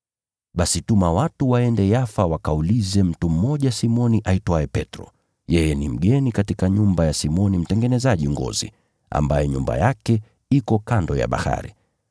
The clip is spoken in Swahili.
Basi tuma watu waende Yafa wakaulize mtu mmoja Simoni aitwaye Petro, yeye ni mgeni katika nyumba ya Simoni mtengenezaji ngozi, ambaye nyumba yake iko kando ya bahari.’